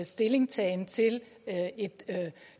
stillingtagen til